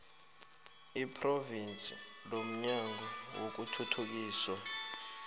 lephrovinsi lomnyango wokuthuthukiswa